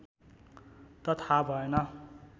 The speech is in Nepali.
त थाह भएन